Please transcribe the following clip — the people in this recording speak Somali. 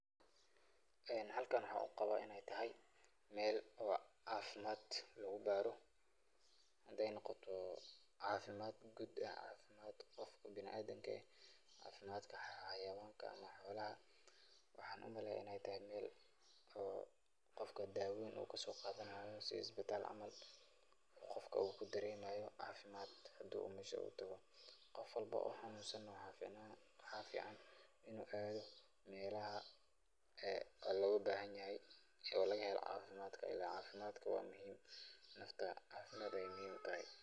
Halkan waxaa uqabaa inaay tahay meel oo cafimaad lagu baaro, hadaay noqoto cafimaad guud ama cafimaad biniadamka ah, cafimaadka xawayaanka, waxaan umaleeya inaay tahay meel oo qofka dawooyin uu kasoo qaadanaayo si isbitaal camal, qofka uu kudaremaayo cafimaad hadii asago xanuunsan uu tago, qof walbo oo xanuunsan waxaa fican inuu aado meelaha laga helo cafimaad, cafimaadka waa muhiim, nafta cafimaad ayeey muhiim utahay.